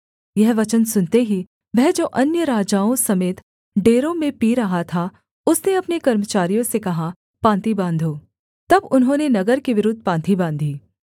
यह वचन सुनते ही वह जो अन्य राजाओं समेत डेरों में पी रहा था उसने अपने कर्मचारियों से कहा पाँति बाँधो तब उन्होंने नगर के विरुद्ध पाँति बाँधी